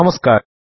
നമസ്കാരം